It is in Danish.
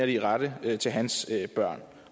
de rette til hans børn